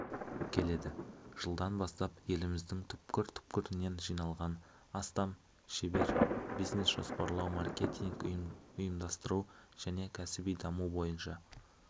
келеді жылдан бастап еліміздің түкпір-түкпірінен жиналған астам шебер бизнес-жоспарлау маркетинг ұйымдастыру және кәсіби даму бойынша